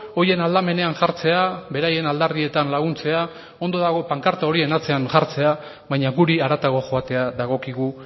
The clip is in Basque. horien aldamenean jartzea beraien aldarrietan laguntzea ondo dago pankarta horien atzean jartzea baina guri haratago joatea dagokigu